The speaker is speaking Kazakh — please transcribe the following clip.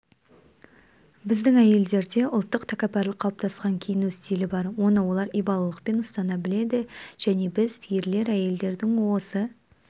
біздің әйелдерде ұлттық тәкаппарлық қалыптасқан киіну стилі бар оны олар ибалылықпен ұстана біледі және біз ерлер әйелдердің осы